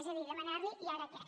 és a dir demanar li i ara què